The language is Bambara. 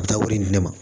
Taa wolo in di ne ma